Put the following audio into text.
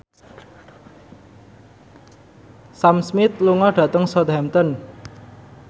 Sam Smith lunga dhateng Southampton